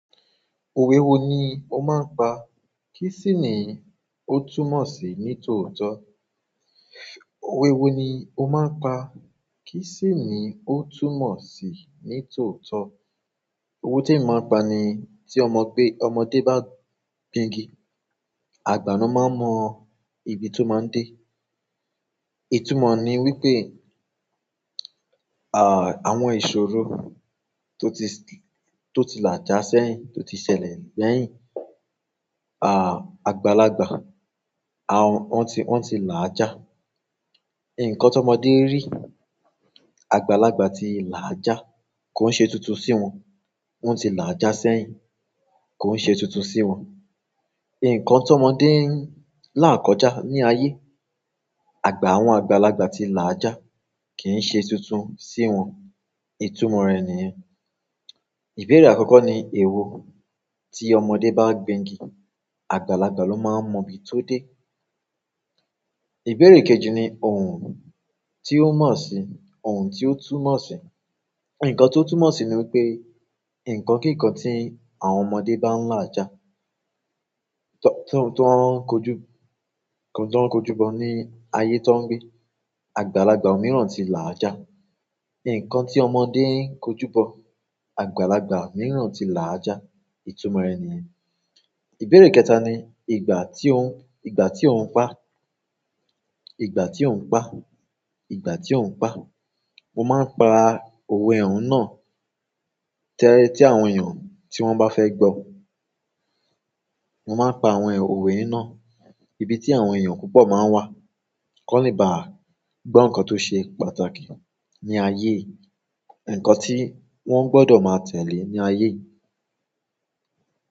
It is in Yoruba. Òwe wo ni ó máa ń pa? Kí sì ni ó túmọ̀ sí ní tòótọ́? Òwe wo ni ó máa ń pa? Kí sì ni ó túmọ̀ sí ní tòótọ́? Òwe te mi máa ń pa ni tí ọmọ gbé, ọmọdé bá gbingi, àgbà ni ó máa mọ ibi tó máa ń dé. Ìtúmọ̀ ni wípé, à, àwọn ìṣòro tó ti, tó ti làjà sẹ́yìn, tó ti ṣẹlẹ̀ lẹ́yìn, à, àgbàlagbà, a òun ti, wọ́n ti làjà. Ǹkan tó ọmọdé rí, àgbàlagbà ti làjà. Kò ń ṣe tuntun sí wọn. Wọ́n ti làjà sẹ́yìn. Kò ń ṣe tuntun sí wọn. Ǹkan tó ọmọdé ń lá kọjá ní ayé, àgbà àwọn àgbàlagbà ti làjà kì í ṣe tuntun sí wọn. Ìtúmọ̀ rẹ̀ nìyẹn. Ìbéèrè àkọ́kọ́ ni èwo tí ọmọdé bá gbingi, àgbàlagbà ló máa ń mọ ibi tó dé. Ìbéèrè kejì ni òun tí ó mọ̀ sí, òun tí ó túmọ̀ sí. Ǹkan tó túmọ̀ sí ni wípé ǹkan kíkan tí àwọn ọmọdé bá ń làjà, tó, tó, tó ń kojú, tó ń kojúbọ̀ ní ayé tó ń gbé. Àgbàlagbà mìíràn ti làjà. Ǹkan tí ọmọdé ń kojú bọ̀, àgbàlagbà mìíràn ti làjà. Ìtúmọ̀ rẹ̀ nìyẹn. Ìbéèrè kẹta ni ìgbà tí ó ń, ìgbà tí ó ń pa, ìgbà tí ó ń pá, ìgbà tí ó ń pá. Mo máa ń pa òwe òun náà tẹ́ẹ́ tí àwọn èèyàn tí wọ́n bá fẹ́ gbọ́. Mo máa ń pa àwọn òwe náà ibi tí àwọn èèyàn púpọ̀ máa ń wà. Kọ́le bá gbọ́ ǹkan tó ṣe pàtàkì ní ayé, ǹkan tí wọ́n gbọdọ̀ máa tẹ̀lé ní ayé.